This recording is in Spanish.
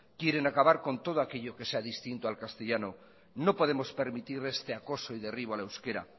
quieren acabar con todo aquello que sea distinto al castellano no podemos permitir este acoso y derribo al euskera